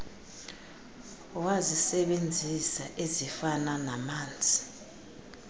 wazisebenzisa ezifana namanzi